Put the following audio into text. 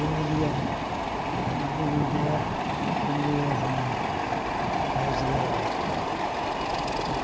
Eu ia eh morar com minha irmã mais velha.